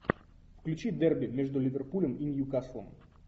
включи дерби между ливерпулем и ньюкаслом